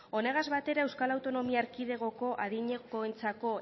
honegaz batera euskal autonomia erkidegoko adinekoentzako